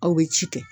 Aw bɛ ci kɛ